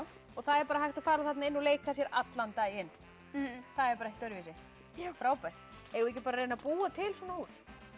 það er hægt að fara þarna inn og leika sér allan daginn það er bara ekkert öðruvísi frábært eigum við ekki að reyna að búa til svona hús